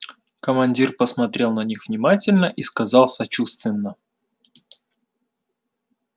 командир посмотрел на них внимательно и сказал сочувственно